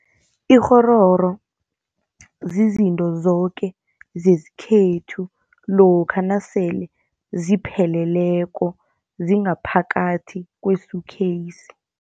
Ikghororo zizinto zoke zesikhethu lokha nasele zipheleleko zingaphakathi kwe-suitcase.